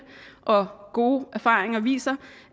og gode erfaringer viser